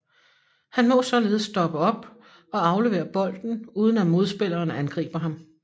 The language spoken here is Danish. Han må således stoppe op og aflevere bolden uden at modspilleren angriber ham